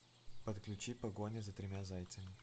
подключи погоня за тремя зайцами